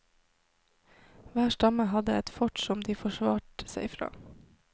Hver stamme hadde et fort som de forsvarte seg fra.